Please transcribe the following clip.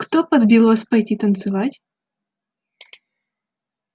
кто подбил вас пойти танцевать